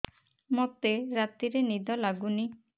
ମୋତେ ରାତିରେ ନିଦ ଲାଗୁନି